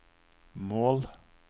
mål